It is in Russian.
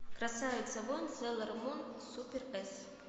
красавица воин сейлормун супер эс